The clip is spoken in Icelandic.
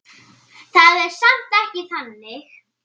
Það er samt ekki þannig.